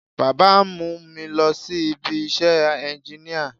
Baba ń mú mi lọ sí ibi iṣẹ́ ẹnginíà